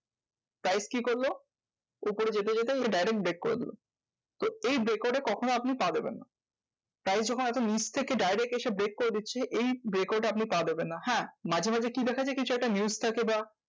Price কি করলো? উপরে যেতে যেতে direct break করে দিলো। এই break out এ কখনো আপনি পা দিবেন না। কারণ যখন এত নিচ থেকে direct এসে break করে দিচ্ছে এই break out এ আপনি পা দিবেন না। হ্যাঁ মাঝে মাঝে কি দেখা যায়? কিছু একটা news থাকে বা